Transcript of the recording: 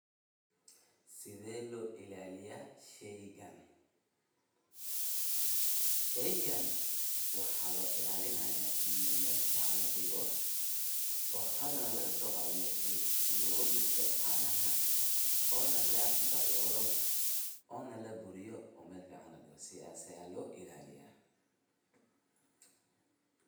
Sethee lo ilaliyah sheegan , sheegan waxa lo ilalinaya ini meel fican la digoh oo hadana laga so qaathoh, meshi lagu leesay canaha, oo la dawooloh, oo la buuriyoh oo meel fican ladegoh sethasi Aya lo ilaliyah.